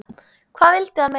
Hvað vildi hann meira?